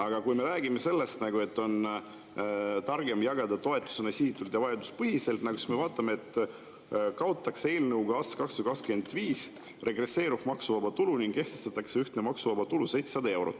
Aga kui me räägime sellest, et on targem jagada toetusena sihitult ja vajaduspõhiselt, siis me vaatame, et eelnõuga kaotatakse aastaks 2025 regresseeruv maksuvaba tulu ning kehtestatakse ühtne maksuvaba tulu 700 eurot.